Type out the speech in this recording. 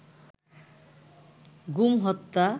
গুম হত্যা